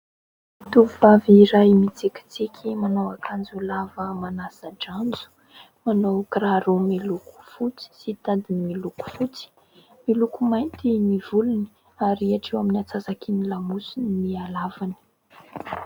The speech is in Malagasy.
Tovovavy iray mitsikitsiky manao akanjo lava manasan-dranjo, manao kiraro miloko fotsy sy tadiny miloko fotsy, miloko mainty ny volony ary hatreho amin'ny atsasaky ny lamosiny ny halavany.